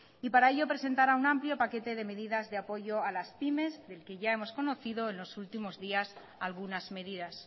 y para ello presentará un amplio paquete de medidas de apoyo a las pymes del que ya hemos conocido en los últimos días algunas medidas